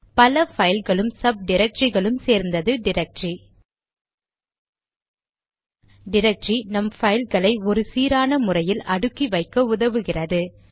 பல பைல்களும் சப் டிரக்டரிகளும் சேர்ந்தது டிரக்டரி டிரக்டரி நம் பைல்களை ஒரு சீரான முறையில் அடுக்கி வைக்க உதவுகிறது